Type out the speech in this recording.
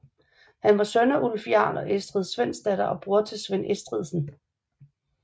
Han var søn af Ulf jarl og Estrid Svendsdatter og bror til Svend Estridsen